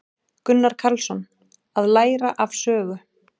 Gunnar Karlsson: Að læra af sögu.